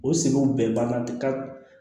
O sogo bɛɛ ban na ka